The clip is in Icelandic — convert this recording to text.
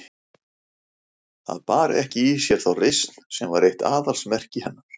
Það bar ekki í sér þá reisn sem var eitt aðalsmerki hennar.